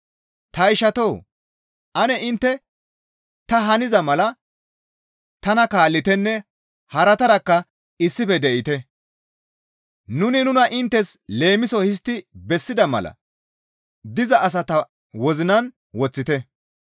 Ta ishatoo! Ane intte ta haniza mala tana kaallitenne haratarakka issife de7ite; nuni nuna inttes leemiso histti bessida mala diza asata wozinan woththite.